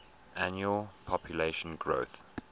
annual population growth